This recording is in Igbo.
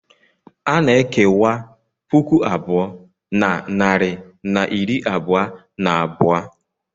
A na-ekewa puku abụọ na narị na iri abụọ na abụọ.